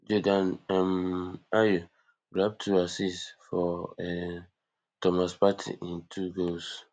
jordan um ayew grab two assists for um thomas partey im two goals